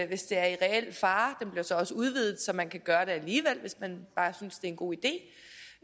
hvis det er i reel fare og den bliver så også udvidet så man kan gøre det alligevel hvis man bare synes en god idé